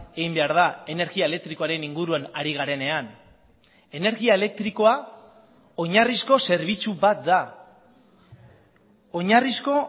egin behar da energia elektrikoaren inguruan ari garenean energia elektrikoa oinarrizko zerbitzu bat da oinarrizko